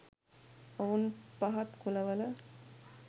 ඔවුන් පහත් කුලවල